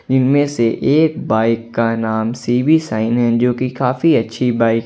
इनमें से एक बाइक का नाम सीबी शाइन है जो की काफी अच्छी बाइक है।